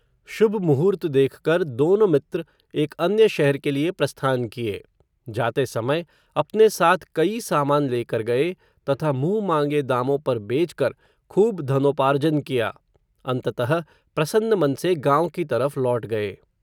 शुभ मुहूर्त देखकर, दोनों मित्र एक अन्य शहर के लिए प्रस्थान किये. जाते समय, अपने साथ कई सामान लेकर गये, तथा मुँहमाँगे दामों पर बेचकर, खूब धनोपार्जन किया. अंततः, प्रसन्न मन से गाँव की तरफ़ लौट गये.